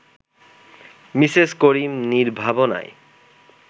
Mrs Karim নির্ভাবনায়